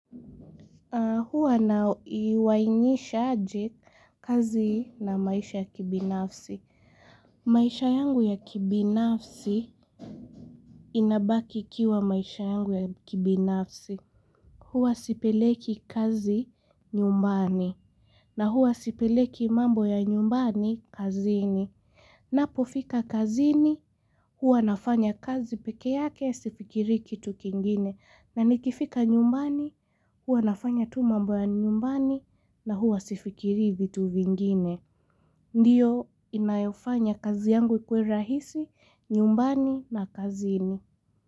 Huwa naiuanishaje kazi na maisha ya kibinafsi maisha yangu ya kibinafsi inabaki ikiwa maisha yangu ya kibinafsi huwa sipeleki kazi nyumbani. Na huwa sipeleki mambo ya nyumbani kazini ninapo fika kazini huwa nafanya kazi peke yake sifikirii kitu kingine na nikifika nyumbani huwa nafanya tu mambo ya nyumbani na huwa sifikirii vitu vingine ndiyo inayofanya kazi yangu ikue rahisi nyumbani na kazini.